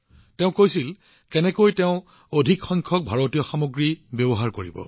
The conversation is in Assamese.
তেওঁ আমাক কৈছিল যে তেওঁ কেনেকৈ কেৱল ভাৰতীয় সামগ্ৰীৰ সৰ্বাধিক ব্যৱহাৰ কৰিব